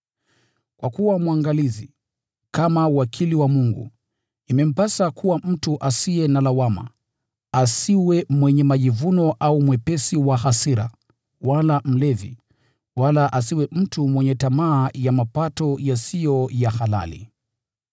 Kwa kuwa mwangalizi, kama wakili wa Mungu, imempasa kuwa mtu asiye na lawama, asiwe mwenye majivuno au mwepesi wa hasira, wala mlevi, wala asiwe mtu mwenye tamaa ya mapato yasiyo ya halali.